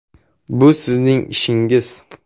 Bu sizning ishingiz.